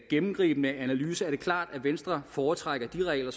gennemgribende analyse er det klart at venstre foretrækker de regler